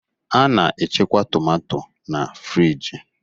A na-echekwa tomato na-friji.